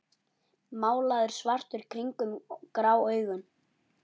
Málaður svartur kringum grá augun.